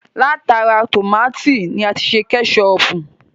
Látara tómátì ni a ti ṣe Kẹ́ṣọpù